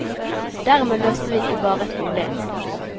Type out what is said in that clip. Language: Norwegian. Dermed løste vi ikke bare et problem.